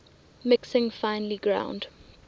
mixing finely ground